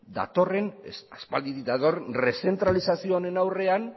aspalditik datorren rezentralizazio honen aurrean